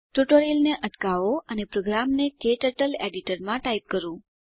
ટ્યુટોરીયલને અટકાવો અને પ્રોગ્રામને ક્ટર્ટલ એડીટરમાં ટાઈપ કરો